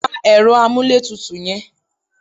Pa ẹ̀rọ amúlétutù yẹn!